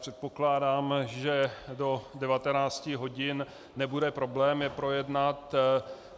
Předpokládám, že do 19 hodin nebude problém je projednat.